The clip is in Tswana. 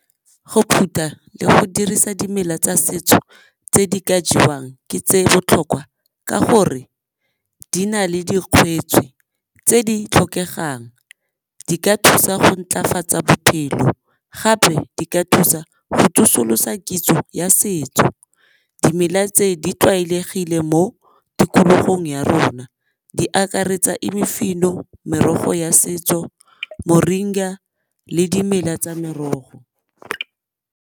Go phutha le go dirisa dimela tsa setso tse di ka jewang ke tse botlhokwa ka gore di na le tse di tlhokegang. Di ka thusa go ntlafatsa bophelo gape di ka thusa go tsosolosa kitso ya setso. Dimela tse di tlwaelegile mo tikologong ya rona di akaretsa imifino, merogo ya setso, moringa le dimela tsa merogo.